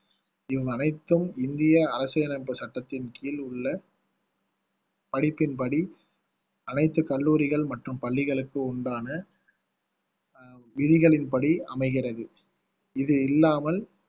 இவை அனைத்தும் இந்திய அரசியலமைப்பு சட்டத்தின் கீழ் உள்ள படிப்பின்படி அனைத்து கல்லூரிகள் மற்றும் பள்ளிகளுக்கு உண்டான அஹ் விதிகளின்படி அமைகிறது இது இல்லாமல்